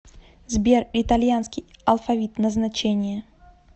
сбер итальянский алфавит назначение